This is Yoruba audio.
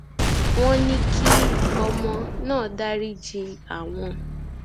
wọn ní kí ọmọ náà dariji àwọn